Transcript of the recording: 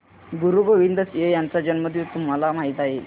गुरु गोविंद सिंह यांचा जन्मदिन तुम्हाला माहित आहे